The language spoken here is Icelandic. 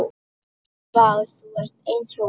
Vá, þú ert eins og.